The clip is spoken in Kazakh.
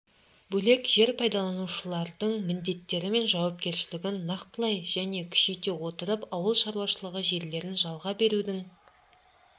бөлек жер пайдаланушылардың міндеттері мен жауапкершілігін нақтылай және күшейте отырып ауыл шаруашылығы жерлерін жалға берудің